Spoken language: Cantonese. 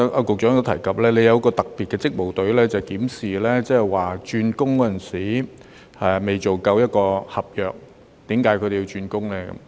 局長剛才提及，當局設有特別職務隊，負責檢視外傭未完成合約便轉工的情況。